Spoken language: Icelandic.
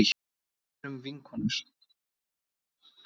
Erum vinkonur.